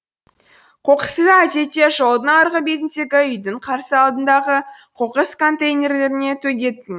қоқысты әдетте жолдың арғы бетіндегі үйдің қарсы алдындағы қоқыс контейнеріне төгетін